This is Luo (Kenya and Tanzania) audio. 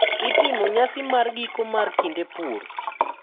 Itimo nyasi mar giko mar kinde pur.